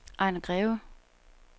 Ejner Greve